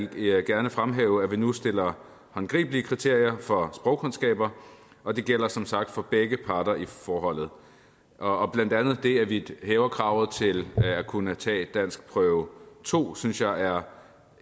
vil jeg gerne fremhæve at vi nu stiller håndgribelige kriterier for sprogkundskaber og det gælder som sagt for begge parter i forholdet og blandt andet det at vi hæver kravet til at kunne tage danskprøve to synes jeg er